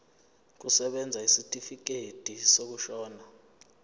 kusebenza isitifikedi sokushona